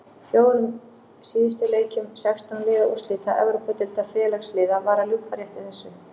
Fjórum síðustu leikjum sextán liða úrslita Evrópudeildar Félagsliða var að ljúka rétt í þessu.